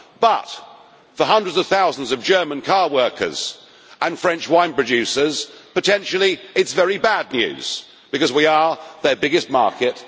But for hundreds of thousands of German car workers and French wine producers, it is potentially very bad news, because we are their biggest market